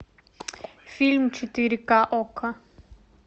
фильм четыре ка окко